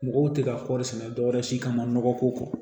Mɔgɔw tɛ ka kɔɔri sɛnɛ dɔwɛrɛ si kama nɔgɔ ko kɔ